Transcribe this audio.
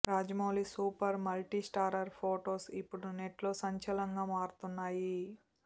Rajamouli super multistarrer photos ఇప్పుడు నెట్లో సంచలనంగా మారుతున్నాయి